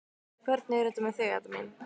Hvernig er þetta með þig, Edda mín?